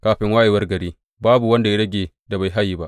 Kafin wayewar gari, babu wanda ya rage da bai haye ba.